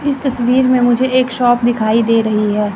इस तस्वीर में मुझे एक शॉप दिखाई दे रही है।